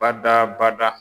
Bada bada.